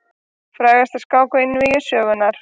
Frægasta skák einvígi sögunnar.